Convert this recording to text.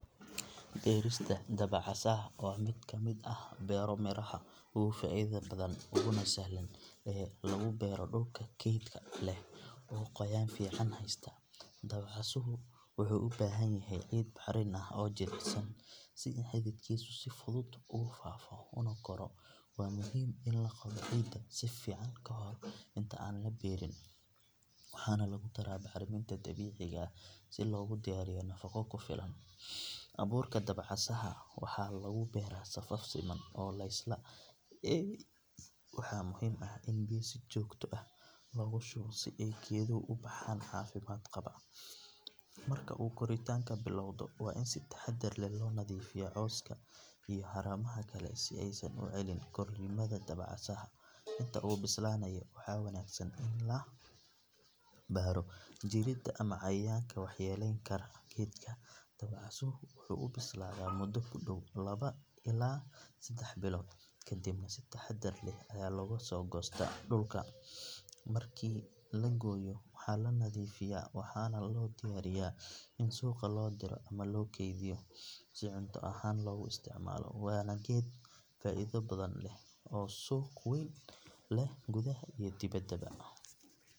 Beerista dabacasaha waa mid ka mid ah beero-miraha ugu faa'iidada badan uguna sahlan in lagu beero dhulka kaydka leh ee qoyaan fiican haysta. Dabacasuhu wuxuu u baahan yahay ciid bacrin ah oo jilicsan si xididkiisu si fudud ugu faafo una koro. Waa muhiim in la qodo ciidda si fiican kahor inta aan la beeriin, waxaana lagu daraa bacriminta dabiiciga ah si loogu diyaariyo nafaqo ku filan. Abuurka dabacasaha waxaa lagu beeraa safaf siman oo laysla eegay, waxaana muhiim ah in biyo si joogto ah loogu shubo si ay geeduhu u baxaan caafimaad qaba. Marka uu koritaanka bilowdo, waa in si taxaddar leh loo nadiifiyaa cawska iyo haramaha kale si aysan u celin korriimada dabacasaha. Inta uu bislaanayo, waxaa wanaagsan in la baadho jirrada ama cayayaanka waxyeelayn kara geedka. Dabacasuhu wuxuu u bislaadaa muddo ku dhow laba ilaa saddex bilood, kadibna si taxaddar leh ayaa looga soo goostaa dhulka. Markii la gooyo, waxaa la nadiifiyaa waxaana loo diyaariyaa in suuqa loo diro ama loo kaydiyo si cunto ahaan loogu isticmaalo. Waana geed faa’iido badan leh oo suuq weyn leh gudaha iyo dibadda.